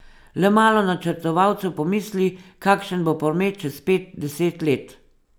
Le malo načrtovalcev pomisli, kakšen bo promet čez pet, deset let.